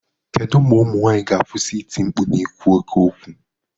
Kedu mgbe ụmụ nwaanyị ga-akwụsị iti mkpu na ikwu oke okwu?